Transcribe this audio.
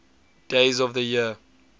days of the year